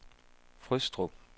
Frøstrup